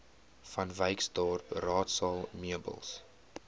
vanwyksdorp raadsaal meubels